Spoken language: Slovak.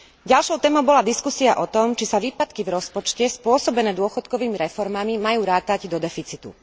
Ďalšou témou bola diskusia o tom, či sa výpadky v rozpočte spôsobené dôchodkovými reformami majú rátať do deficitu.